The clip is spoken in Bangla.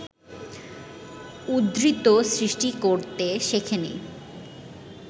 উদ্বৃত্ত সৃষ্টি করতে শেখে নি